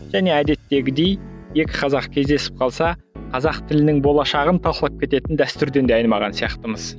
және әдеттегідей екі қазақ кездесіп қалса қазақ тілінің болашағын талқылап кететін дәстүрден де айырмаған сияқтымыз